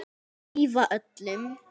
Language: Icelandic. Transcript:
Hlífa öllum.